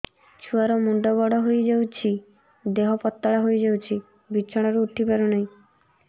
ଛୁଆ ର ମୁଣ୍ଡ ବଡ ହୋଇଯାଉଛି ଦେହ ପତଳା ହୋଇଯାଉଛି ବିଛଣାରୁ ଉଠି ପାରୁନାହିଁ